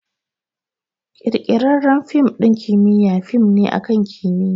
Ƙirƙirarren fim ɗin kimiyya fim ne akan kimiyya